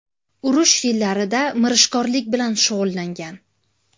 Urush yillarida mirishkorlik bilan shug‘ullangan.